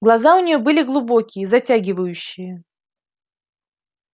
глаза у нее были глубокие затягивающие